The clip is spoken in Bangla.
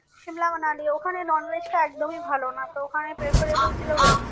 Simla, Manali ওখানে non veg টা একদমই ভালো না তো ওখানে preferable ছিল veg